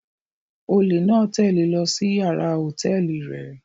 Ólé náa tẹle e lọ si yàrá hotẹẹli rẹ